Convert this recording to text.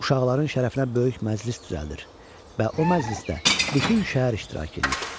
Uşaqların şərəfinə böyük məclis düzəldir və o məclisdə bütün şəhər iştirak eləyir.